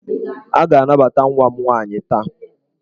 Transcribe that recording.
A ga-anabata nwa m nwaanyị taa!